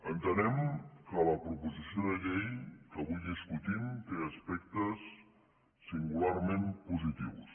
entenem que la proposició de llei que avui discutim té aspectes singularment positius